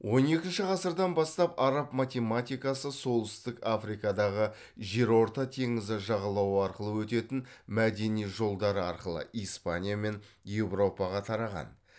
он екінші ғасырдан бастап араб математикасы солтүстік африкадағы жерорта теңізі жағалау арқылы өтетін мәдени жолдары арқылы испания мен еуропаға тараған